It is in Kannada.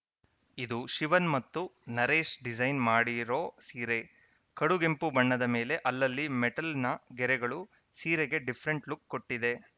ಇದು ಶಿವನ್‌ ಮತ್ತು ನರೇಶ್‌ ಡಿಸೈನ್‌ ಮಾಡಿರೋ ಸೀರೆ ಕಡುಗೆಂಪು ಬಣ್ಣದ ಮೇಲೆ ಅಲ್ಲಲ್ಲಿ ಮೆಟಲ್‌ನ ಗೆರೆಗಳು ಸೀರೆಗೆ ಡಿಫರೆಂಟ್‌ ಲುಕ್‌ ಕೊಟ್ಟಿದೆ